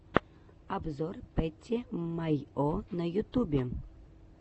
обзор пэтти майо на ютубе